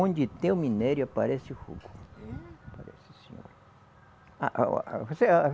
Onde tem o minério, aparece o fogo. É? Aparece sim senhora. A a o